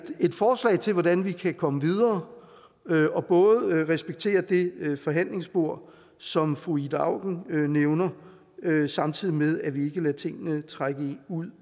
forslag til hvordan vi kan komme videre og både respektere det forhandlingsspor som fru ida auken nævnte samtidig med at vi ikke lader tingene trække ud